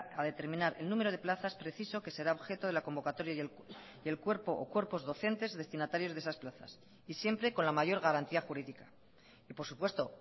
a determinar el número de plazas preciso que será objeto de la convocatoria y el cuerpo o cuerpos docentes destinatarios de esas plazas y siempre con la mayor garantía jurídica y por supuesto